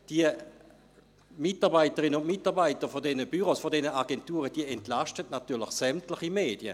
Die Mitarbeiterinnen und Mitarbeiter dieser Büros, dieser Agenturen entlasten natürlich sämtliche Medien.